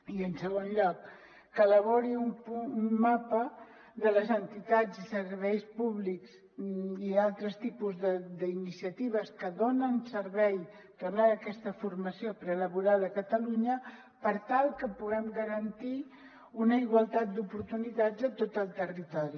i en segon lloc que elabori un mapa de les entitats i serveis públics i altres tipus d’iniciatives que donen servei que donen aquesta formació prelaboral a catalunya per tal que puguem garantir una igualtat d’oportunitats a tot el territori